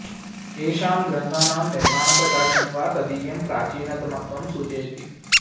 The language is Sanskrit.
येषां ग्रन्थानां निर्माण प्रकाशनं वा तदीयं प्राचीनतमत्वं सूचयति